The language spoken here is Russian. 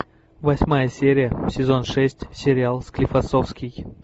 восьмая серия сезон шесть сериал склифосовский